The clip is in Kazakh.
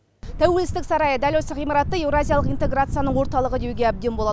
тәуелсіздік сарайы дәл осы ғимаратты еуразиялық экономикалық интеграцияның орталығы деуге әбден болады